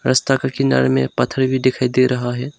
रस्ता के किनारे में पत्थर भी दिखाई दे रहा है।